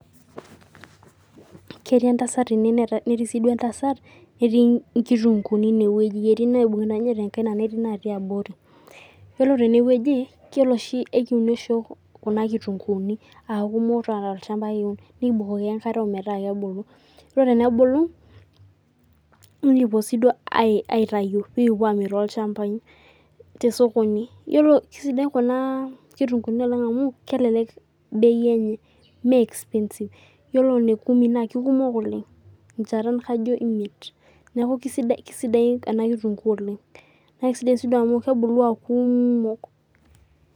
Ketii entasat ene netii siduo entasat netii nkitunguni inewueji, etii naibungita ninye tenkaina netii natii abori yiolo tenewueji ekirem oshibm kuna kitunguuni aaku kiata tolchmaba, nikibukoki enkareb metaabkebilu ore pebulu nikipuoi siyie nikipuo amir tollchambai tesokoni kesidai kuna kitunguuni oleng amu kelek bei enye me expensive Yiolo nekwa na kekumok oleng enchata kajo imiet neaku kisidai enakitungu olenga nakesidai amu kebulu aakumok .